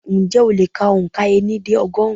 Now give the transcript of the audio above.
Ǹjẹ́ o lè kà òǹkà ení dé ọgọ́rùn-ún?